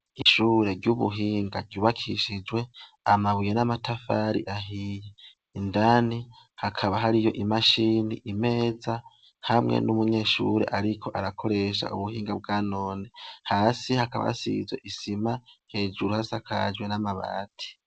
Ishuri ry'ubuhinga ryubakishijwe amabuye n'amatafari ahiye indani hakaba hariyo imashini imeza hamwe n'umunyshure ariko arakoresha Ubuhinga bwanone hasi hakaba hasizwe isima hejuru hasakaje n'amabati .